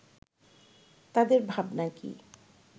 তাদের ভাবনা কি